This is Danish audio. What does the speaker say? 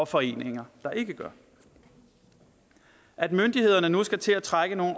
foreninger der ikke gør det at myndighederne nu skal til at træffe nogle